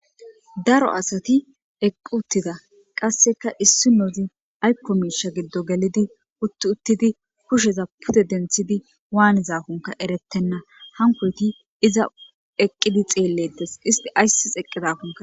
Daro asati eqqi uttida qasseka issi nozi aykko miisha giddo gelidi utti uttidi kusheza pude denthidi waanizakunka erettenna hankoyti iza eqqidi xeellettes isti ayssis eqqizakunka